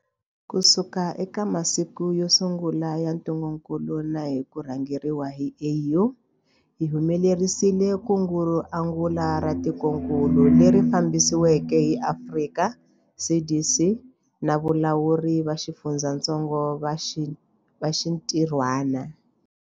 Kusuka eka masiku yo sungula ya ntungukulu na hi ku rhangeriwa hi AU, hi humelerisile kungu ro angula ra tikokulu, leri fambisiweke hi Afrika CDC na valawuri va xifundzatsongo va xintirhwana.